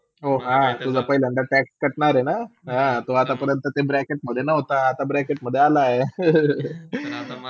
हो, हा, तुझा पहिल्ंदया tax कटणार हाय ना, हा आता पर्यंत तू Bracket मधे नव्हता. आता Bracket मधे आला